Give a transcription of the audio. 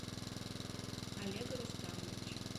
олега рустамовича